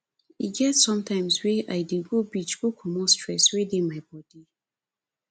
e get sometimes wey i dey go beach go comot stress wey dey my bodi